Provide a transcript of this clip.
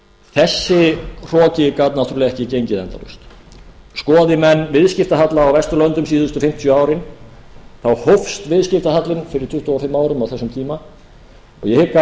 þessi hroki gat náttúrlega ekki gengið endalaust skoði menn viðskiptahalla á vesturlöndum síðustu fimmtíu árin hófst viðskiptahallinn fyrir tuttugu og fimm árum á þessum tíma og ég hygg